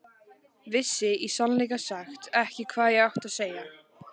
Vissi í sannleika sagt ekki hvað ég átti að segja.